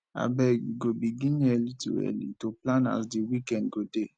abeg we go begin early to early to plan as di weekend go dey